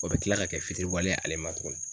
O be kila ka kɛ fitiriwale ye ale ma tugun.